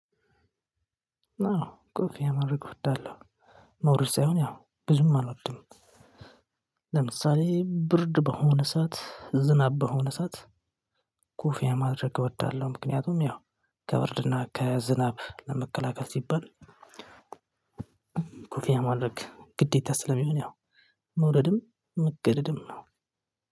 አዎ ኮፍያ ማድርግ እወዳለሁ። መውደድ ሳይሆን ያው ብዙም አልወድም። ለምሳሌ ብርድ በሆነ ሰዓት ዝናብ በሆነ ሰዓት ኮፍያ ማድረግ እወዳለው። ምክንያቱም ያው ከብርድ እና ከዝናብ ለመከላከል ሲባል። ኮፍያ ማድረግ ግዴታ ስለሚሆን መውደድም መገደድም ነው።